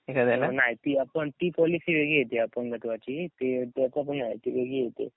नाय ती आपण ती पॉलिसी वेगळी ती अपंगत्वाची ती वेगळी येते.